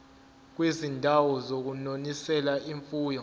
kwizindawo zokunonisela imfuyo